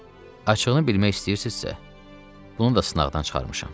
Açığını bilmək istəyirsizsə, bunu da sınaqdan çıxarmışam.